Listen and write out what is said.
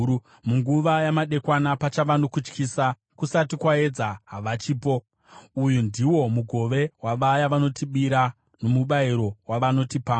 Munguva yamadekwana, pachava nokutyisa! Kusati kwaedza, havachipo! Uyu ndiwo mugove wavaya vanotibira, nomubayiro wavanotipamba.